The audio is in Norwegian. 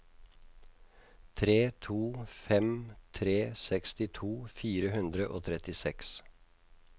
tre to fem tre sekstito fire hundre og trettiseks